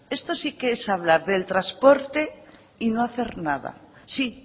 esto sí que es hablar del transporte y no hacer nada sí